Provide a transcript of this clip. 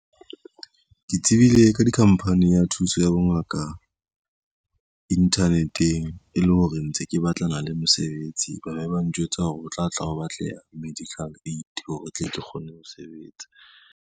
Ke tsebile ka dikhamphani ya thuso ya bongaka, internet-eng e le hore ntse ke batlana le mosebetsi, ba le ba njwetsa hore ho tla tla ho batleha medical aid hore tle ke kgone ho sebetsa.